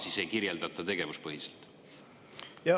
Miks seda ei kirjeldata tegevuspõhiselt?